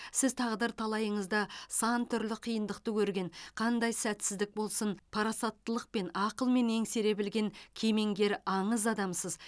сіз тағдыр талайыңызда сан түрлі қиындықты көрген қандай сәтсіздік болсын парасаттылықпен ақылмен еңсере білген кемеңгер аңыз адамсыз